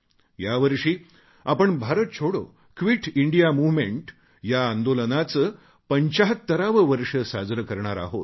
यावर्षी आपण Bharat Chhodo quit India movement या आंदोलनाचे 75 वे वर्ष साजरे करणार आहोत